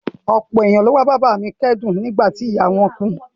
Ọ̀pọ̀ ènìyàn ló wá bá bàbá a mi kẹ́dùn nígbà tí ìyá a wọ́n kú